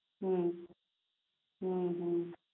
પછી સ્કૂલને